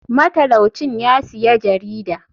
Matalau cin yasiya jarida.